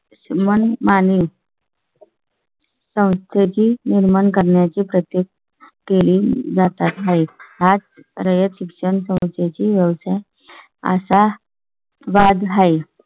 मनमानी . संताजी निर्माण करण्याची प्रत्येक केली जात आहे. आज रयत शिक्षण पोहचायची व्यवसाय असा वाद आहे.